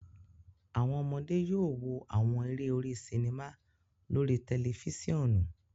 Awọn ọmọde yóò wò awọn eré orí sinima lórí tẹlifisiọnu